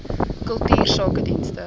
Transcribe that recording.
kultuursakedienste